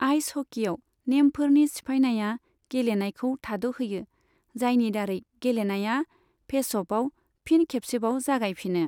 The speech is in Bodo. आइस हकीआव, नेमफोरनि सिफायनाया गेलेनायखौ थाद'होयो, जायनि दारै गेलेनाया फेसअफआव फिन खेबसेबाव जागायफिनो।